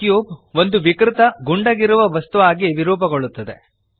ಈ ಕ್ಯೂಬ್ ಒಂದು ವಿಕೃತ ಗುಂಡಗಿರುವ ವಸ್ತು ಆಗಿ ವಿರೂಪಗೊಳ್ಳುತ್ತದೆ